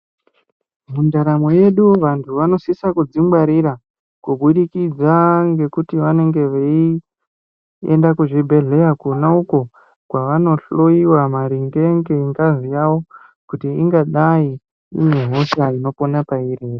Mundaramo yedu vantu vanosisa kudzingwarira kubudikidza ngekuti vanonga veienda kuzvibhedhlera kona uko kwavanohloiwa maringe ngengazi yawo kuti ingadai ine hosha inopona pairi ere.